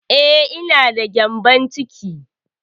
Eh, ina da gƴambon ciki